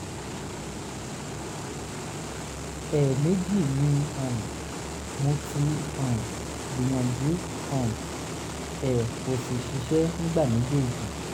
ẹ̀ẹ̀mejì ni um mo ti um gbìyànjú um ẹ̀ kò sì ṣiṣẹ́ nígbà méjèèjì